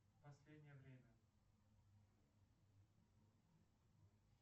последнее время